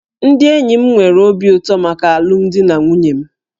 Ndị enyi m nwere obi ụtọ maka alụmdi na nwunye m